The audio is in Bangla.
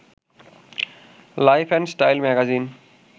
life and Style magazine